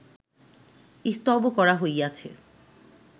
স্তব করা হইয়াছে